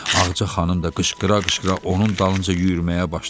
Ağca xanım da qışqıra-qışqıra onun dalınca yüyürməyə başladı.